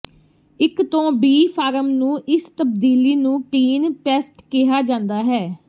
ਇੱਕ ਤੋਂ B form ਨੂੰ ਇਸ ਤਬਦੀਲੀ ਨੂੰ ਟੀਨ ਪੈਸਟ ਕਿਹਾ ਜਾਂਦਾ ਹੈ